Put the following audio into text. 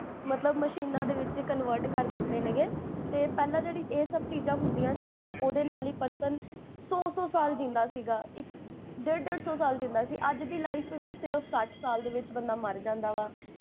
ਮਤਲਬ ਮਸ਼ੀਨਾਂ ਦੇ ਵਿੱਚ ਕਨਵਰਟ ਕਰ੍ਦਿੱਤੇ ਨੇ ਗੇ, ਤੇ ਪੇਹ੍ਲਾਂ ਜੇਹੜੀ ਇਹ ਸਬ ਚੀਜ਼ਾਂ ਹੁੰਦੀਆਂ ਸੀ ਨਾ ਓਦੇ ਨਾਲ ਹੀ ਇਕ ਇਕ person ਸੋ ਸੋ ਸਾਲ ਜੀਂਦਾ ਸੀਗਾ, ਇਕ, ਡੇਡ ਡੇਡ ਸੋ ਸਾਲ ਜੀਂਦਾ ਸੀਗਾ ਅੱਜ ਦੀ life ਵੀ ਸਿਰਫ ਸਠ ਸਾਲ ਦੇ ਵਿੱਚ ਬੰਦਾ ਮਰ ਜਾਂਦਾ ਵਾ